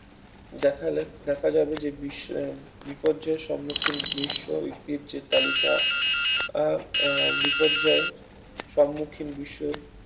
দেখালে দেখা যাবে যে বিশ্বে আহ বিপর্যয়ের সম্মুখীন বিশ্ব ঐতিহ্যের তালিকায় আহ আহ বিপর্যয় সম্মুখীন বিশ্ব